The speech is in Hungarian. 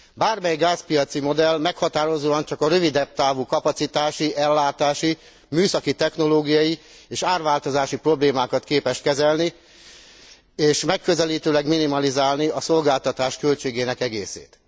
Bármely gázpiaci modell meghatározóan csak a rövidebb távú kapacitási, ellátási, műszaki technológiai és árváltozási problémákat képes kezelni és megközelítőleg minimalizálni a szolgáltatás költségének egészét.